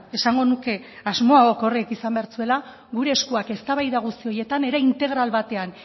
esango nuke asmo orokorra izan behar zuela gure eskuak eztabaida guzti horietan era integral batean